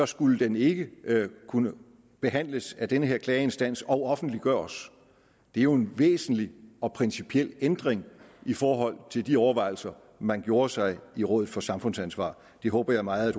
skulle den ikke kunne behandles af den her klageinstans og offentliggøres det er jo en væsentlig og principiel ændring i forhold til de overvejelser man gjorde sig i rådet for samfundsansvar det håber jeg meget at